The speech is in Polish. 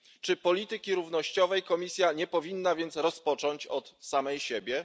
Czy polityki równościowej Komisja nie powinna więc rozpocząć od samej siebie?